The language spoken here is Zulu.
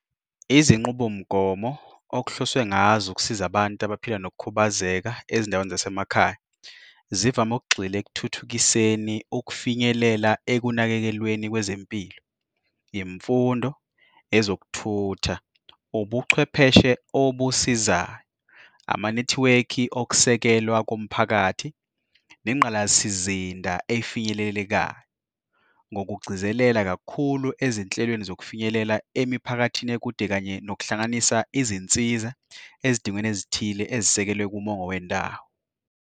Izinqubo mgomo okuhloswe ngazo ukusiza abantu abaphila ngokukhubazeka ezindaweni zasemakhaya, zivame ukugxila ekuthuthukiseni ukufinyelela ekunakekelweni kwezempilo, imfundo, ezokuthutha, ubuchwepheshe obusizayo, amanethiwekhi okusekelwa komphakathi, nengqalasizinda efinyelelekayo, ngokugcizelela kakhulu ezinhlelweni zokufinyelela emiphakathini ekude kanye nokuhlanganisa izinsiza ezidingweni ezithile ezisekelwe kumongo wendawo.